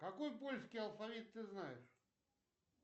какой польский алфавит ты знаешь